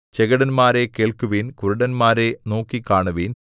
ചെകിടന്മാരേ കേൾക്കുവിൻ കുരുടന്മാരേ നോക്കിക്കാണുവിൻ